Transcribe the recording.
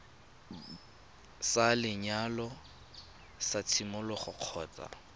sa lenyalo sa tshimologo kgotsa